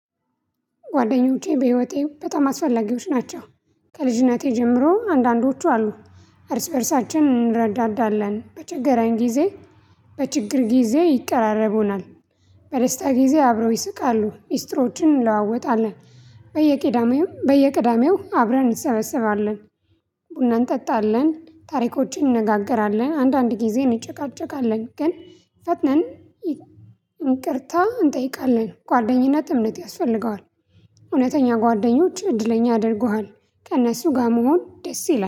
ጓደኞቼ በህይወቴ በጣም አስፈላጊዎች ናቸው። ከልጅነቴ ጀምሮ አንዳንዶቹ አሉ። እርስ በእርሳችን እንረዳዳለን በችግራዊ ጊዜ። በችግር ጊዜ ይቃረቡናል። በደስታ ጊዜ አብረው ይስቃሉ ሚስጥሮችን እንለዋወጣለን። በየቅዳሜው በየቅዳሜው አብረን እንሰበሰባለን። ቡናን እንጠጣለን ታሪኮችን እንነጋገራለን አንዳንድ ጊዜ እንጨቃጨቃለን ግን። ፈትነን እንቅርታ እንጠይቃለን። ጓደኝነት እምነት ያስፈልገዋል። እውነተኛ ጓደኞች እድለኛ አድርጎሃል ከእነሱ ጋር መሆን ደስ ይላል